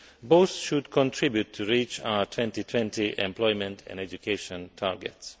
Both should contribute to reach our 2020 employment and education targets.